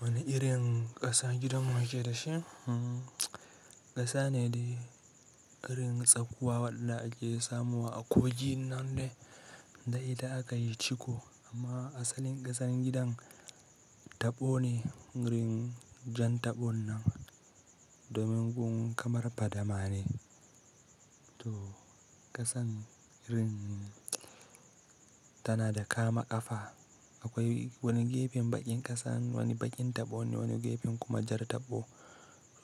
Wane irin ƙasa gidan muke da shi? Ƙasa ne da ƙarin tsakuwa wadda ake samuwa a kogi nan dai da idan aka yi ciko amma asalin ƙasan gidan taɓo ne. Rin jan taɓon nan domin gun kamar fadama ne. To ƙasan rin tana da kama ƙafa. Akwai wani gefen baƙin ƙasan, wani baƙin taɓo ne, wani gefen kuma jar taɓo.